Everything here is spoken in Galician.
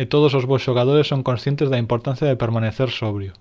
e todos os bos xogadores son conscientes da importancia de permanecer sobrio